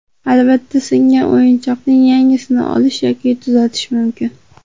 Albatta, singan o‘yinchoqning yangisini olish yoki tuzatish mumkin.